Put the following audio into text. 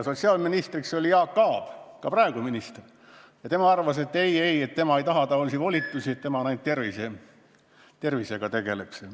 Sotsiaalministriks oli siis Jaak Aab, ka praegu on ta minister, ja tema arvas, et ei, tema ei taha taolisi volitusi, tema tegeleb ainult tervisega.